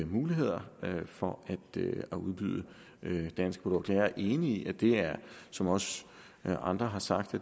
mulighederne for at udbyde danske produkter jeg er enig i at det her er som også andre har sagt